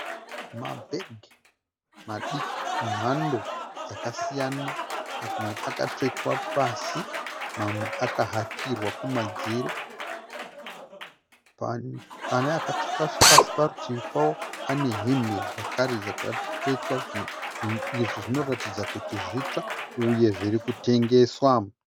Mabhegi madiki emhando dzakasiyana. Mamwe akatsvetwa pasi mamwe akahakirwa kumadziro. Pane akatsvetwa pasi, parutivi pawo pane hembe zvakare dzakatsvetwa. Zvinhu izvi zvinoratidza kuti zvitsva uye zviri kutengeswa.